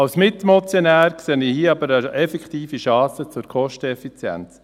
Als Mitmotionär sehe ich hier aber eine effektive Chance für Kosteneffizienz.